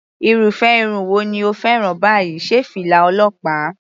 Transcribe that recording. Irúfẹ́ irun wo ni o fẹ́ràn báyìí, sé fìlà ọlọ́pàá?.